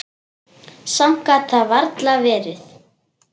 Samt gat það varla verið.